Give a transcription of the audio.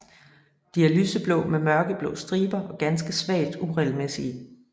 De er lyseblå med mørkeblå striber og ganske svagt uregelmæssige